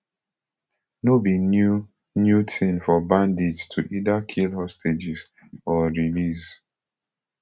no be new new tin for bandits to either kill hostages or release